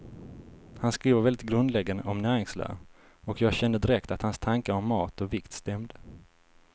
Han skriver väldigt grundläggande om näringslära, och jag kände direkt att hans tankar om mat och vikt stämde.